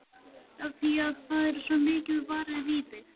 Af því að það er svo mikið varið í þig.